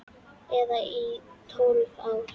Eða í tólf ár?